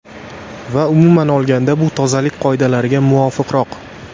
Va umuman olganda bu tozalik qoidalariga muvofiqroq.